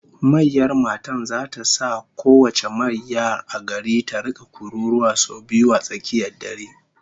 Mayyar matan zata sa kowace mayyar a garin ta rika kururuwa sau biyu a tsakiyar dare